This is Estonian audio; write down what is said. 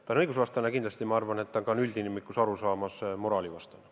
See on õigusvastane ja ma arvan, et see on üldinimliku arusaama järgi ka moraalivastane.